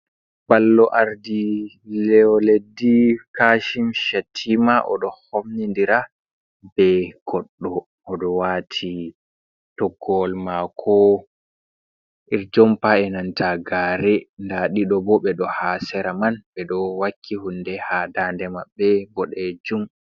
Ballow Ardiɗo leddi Kashim Shattima oɗo homnidira be goɗɗo. Oɗo waati toggowol mako iri jompa e'nanta gare. Nda ɗiɗo bo ɓeɗo ha sera man ɓeɗo wakki hunde ha daande mabbe boɗejum.